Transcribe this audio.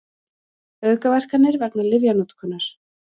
Aukaverkanir vegna lyfjanotkunar.